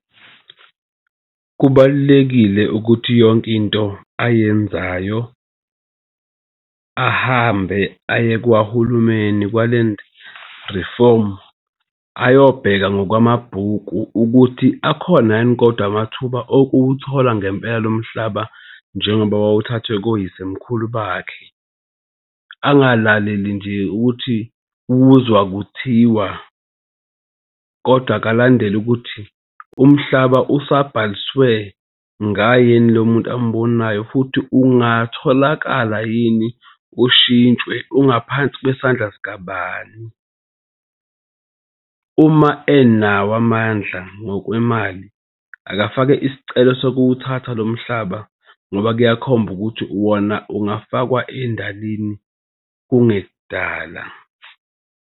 Kubalulekile ukuthi yonke into ayenzayo ahambe aye kwahulumeni kwa-land reform ayobheka ngokwamabhuku ukuthi akhona yini kodwa amathuba okuwuthola ngempela lo mhlaba, njengoba wawuthathwe koyisemkhulu bakhe. Angalaleli nje ukuthi uzwa kuthiwa kodwa akalandele ukuthi umhlaba usabhaliswe ngayeni lo muntu amubonayo futhi ungatholakala yini, ushintshwe ungaphansi kwesandla sikabani? Uma enawo amandla ngokwemali akafake isicelo sokuwuthathwa lo mhlaba ngoba kuyakhomba ukuthi wona ungafakwa endalini kungekudala.